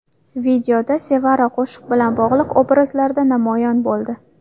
Videoda Sevara qo‘shiq bilan bog‘liq obrazlarda namoyon bo‘ldi.